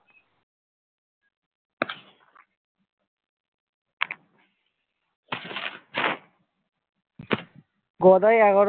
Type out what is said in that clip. Gadai